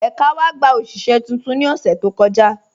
Ẹka wa gbà oṣiṣẹ̀ tuntun ni ọṣẹ̀ tó kọja